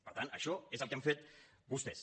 per tant això és el que han fet vostès